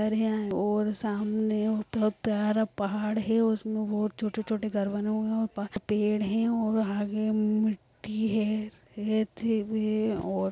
और सामने बहुत प्यारा पहाड़ हैं। और उसमे और छोटे-छोटे घर बने हुए है। और वहाँ पेड़ हैं और आगे मिट्टी है रेती भी है और--